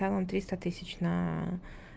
дал он триста тысяч на